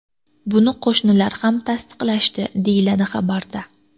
Buni qo‘shnilar ham tasdiqlashdi”, deyiladi xabarda.